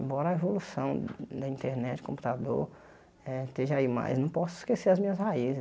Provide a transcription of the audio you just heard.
Embora a evolução da internet, computador eh esteja aí, mas não posso esquecer as minhas raízes.